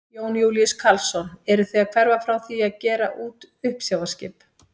Jón Júlíus Karlsson: Eruð þið að hverfa frá því að gera út uppsjávarskip?